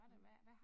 Mh